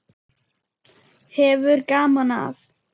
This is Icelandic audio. Hefur gaman af.